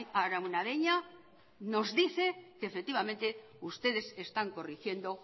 araunabeña nos dice que efectivamente ustedes están corrigiendo